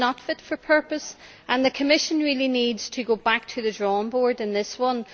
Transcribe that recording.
It is not fit for purpose, and the Commission really needs to go back to the drawing board on this one.